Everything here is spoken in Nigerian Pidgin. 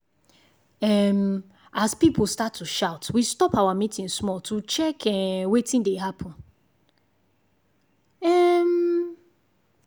um as people start to shout we stop our meeting small to check um wetin dey happen. um